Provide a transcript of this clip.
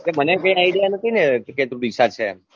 મને કઈ idea નથી ને કે તું ડીસા છે એમ